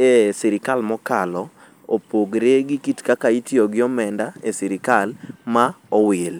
e sirikal mokalo opogore gi kit kaka itiyo gi omenda e sirikal ma owil.